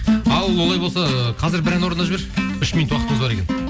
ал олай болса қазір бір ән орындап жібер үш минут уақытымыз бар екен